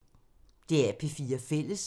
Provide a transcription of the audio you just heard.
DR P4 Fælles